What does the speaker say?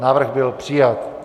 Návrh byl přijat.